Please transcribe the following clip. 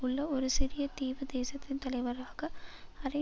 உள்ள ஒரு சிறிய தீவு தேசத்தின் தலைவராக அரை